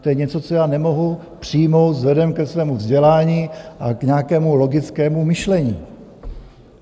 To je něco, co já nemohu přijmout vzhledem ke svému vzdělání a k nějakému logickému myšlení.